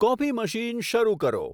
coffee machine શરુ કરો